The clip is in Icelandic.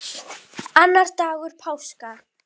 Annar dagur páska.